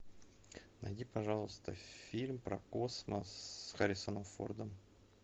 найди пожалуйста фильм про космос с харрисоном фордом